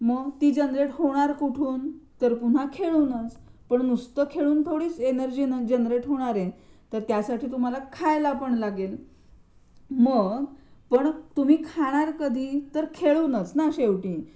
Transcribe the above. मग ती जनरेट होणार कृठून तर पुन्हा खेळूनच पण नृसत खेळून नव्हे एवढ्याने थोडीच येणार जनरेट होणारे त्यासाठी तुम्हाला खायला पण लागेल मग पण तुम्ही खाणार कधी, तर खेळूनच ना शेवटी.